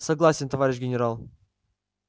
согласен товарищ генерал